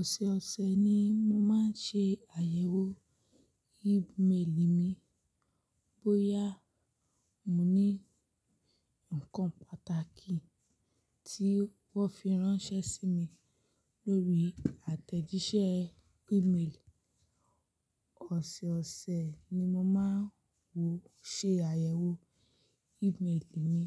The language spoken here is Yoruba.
Ọ̀sọ̀ọ̀sẹ̀ ni mo máa ń ṣe àyẹ̀wò email mi bóyá mo ní ǹkan pàtàkì tí wọ́n fi ránṣẹ́ sí mi lórí àtẹ̀jíṣẹ́ email. Ọ̀sọ̀ọ̀sẹ̀ ni mo máa ń wọ ṣe àyẹ̀wò email mi.